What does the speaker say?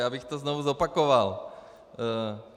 Já bych to znovu zopakoval.